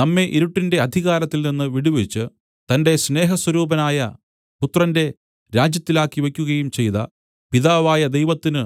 നമ്മെ ഇരുട്ടിന്റെ അധികാരത്തിൽ നിന്ന് വിടുവിച്ച് തന്റെ സ്നേഹസ്വരൂപനായ പുത്രന്റെ രാജ്യത്തിലാക്കി വെയ്ക്കുകയും ചെയ്ത പിതാവായ ദൈവത്തിനു